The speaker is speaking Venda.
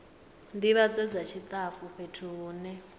ndivhadzo dza tshitafu fhethu hune